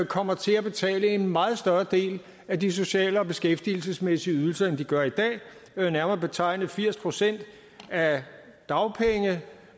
kommer til at betale en meget større del af de sociale og beskæftigelsesmæssige ydelser end de gør i dag nærmere betegnet firs procent af dagpenge